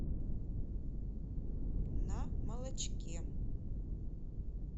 на молочке